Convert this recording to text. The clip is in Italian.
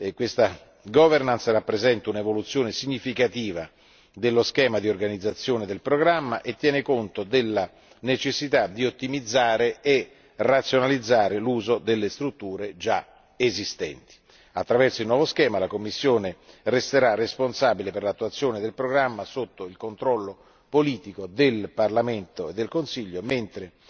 Questa governance rappresenta un'evoluzione significativa dello schema di organizzazione del programma e tiene conto della necessità di ottimizzare e razionalizzare l'uso delle strutture già esistenti. Attraverso il nuovo schema, la Commissione resterà responsabile per l'attuazione del programma, sotto il controllo politico del Parlamento e del Consiglio, mentre